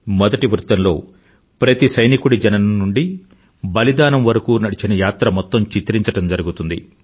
మొదటి వృత్తంలో ప్రతి సైనికుడి జననం నుండి బలిదానం వరకూ నడిచిన యాత్ర మొత్తం చిత్రించడం జరిగింది